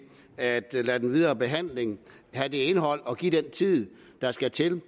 at lade den videre behandling have det indhold og give det den tid der skal til